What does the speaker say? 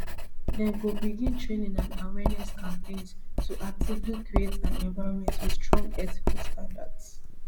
dem go begin training and awareness campaigns to actively create an environment wit strong ethical standards